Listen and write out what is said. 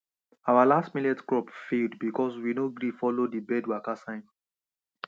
our last millet crop failed because we no gree follow the bird waka signs